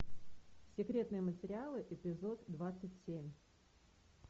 секретные материалы эпизод двадцать семь